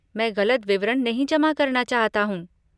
मैं गलत विवरण नहीं जमा करना चाहता हूँ।